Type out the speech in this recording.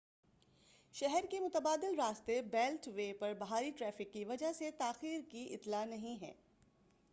شہر کے متبادل راستے بیلٹ وے پر بھاری ٹریفک کی وجہ سے تاخیر کی اطلاع نہیں ہے